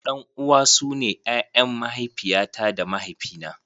Ɗan uwa su ne ƴaƴan mahaifiya ta da mahaifi na.